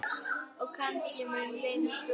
Og kannski mun lengur.